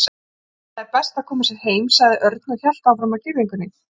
Nei, það er best að koma sér heim sagði Örn og hélt áfram að girðingunni.